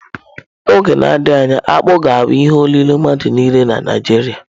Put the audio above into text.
N'oge na-adịghị anya, akpu ga-abụ ihe olilo mmadụ niile na Naịjirịa.